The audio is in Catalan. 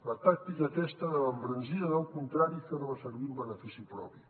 la tàctica aquesta de l’embranzida del contrari fer la servir en benefici propi